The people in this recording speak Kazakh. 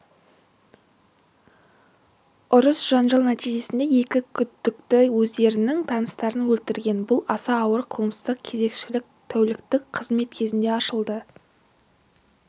ұрыс-жанжал нәтижесінде екі күдікті өздерінің таныстарын өлтірген бұл аса ауыр қылмыс кезекшілік тәуліктік қызмет кезінде ашылды